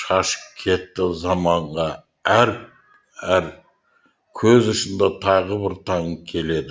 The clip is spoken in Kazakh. шашып кетті заманға әр көз ұшында тағы бір таң келеді